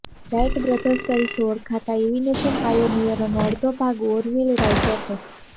right brothers તરીકે ઓળખાતા aviation પાયોનિયરોનો અડધો ભાગ ઓરવીલ રાઈટ હતો